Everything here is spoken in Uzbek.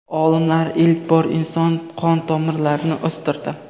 Olimlar ilk bor inson qon tomirlarini o‘stirdi.